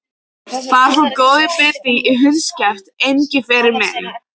Þar fór góður biti í hundskjaft, Engiferinn minn.